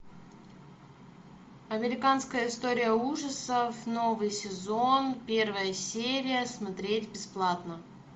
американская история ужасов новый сезон первая серия смотреть бесплатно